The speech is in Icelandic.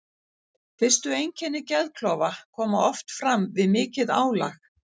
Fyrstu einkenni geðklofa koma oft fram við mikið álag.